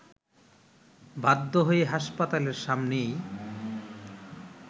বাধ্য হয়ে হাসপাতালের সামনেই